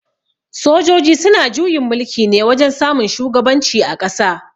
Sojoji suna juyin mulki ne wajen samun shugaban ci a ƙasa